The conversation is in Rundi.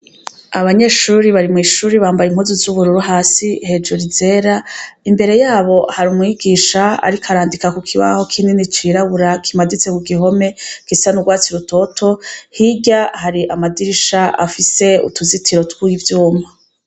Abanyeshuri bari mw'ishuri bambaye impuzu z'ubururu hasi hejuru izera, imbere yabo hari umwigisha ariko arandika ku kibaho kinini cirabura kimaditse ku gihome gisa n'urwatsi rutoto, hirya hari amadirisha afise utuzitiro tw'ivyuma.